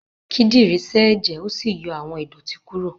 Kídìrí sẹ́ èjẹ̀ ó sì yọ àwọn ìdọ̀tí kúrò.